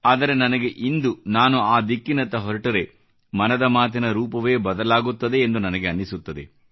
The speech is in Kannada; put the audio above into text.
ಆದರೆ ನನಗೆ ಇಂದು ನಾನು ಆ ದಿಕ್ಕಿನತ್ತ ಹೊರಟರೆ ಮನದ ಮಾತಿನ ರೂಪವೇ ಬದಲಾಗುತ್ತದೆ ಎಂದು ನನಗೆ ಅನಿಸುತ್ತದೆ